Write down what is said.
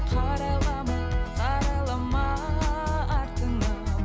қарайлама қарайлама артыңа